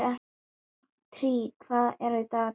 Týr, hvað er á dagatalinu í dag?